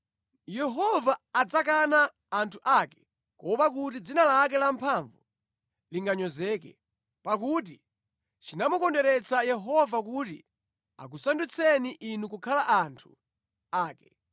Yehova adzakana anthu ake kuopa kuti dzina lake lamphamvu linganyozeke, pakuti chinamukondweretsa Yehova kuti akusandutseni inu kukhala anthu ake.